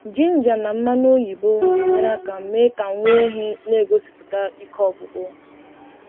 jinja na mmanụ oyibo na-enyere aka mee ka nwá ehi n'egosiputa ike ọgwụgwụ.